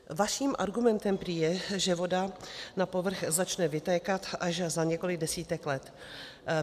Vaším argumentem prý je, že voda na povrch začne vytékat až za několik desítek let.